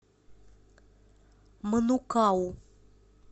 манукау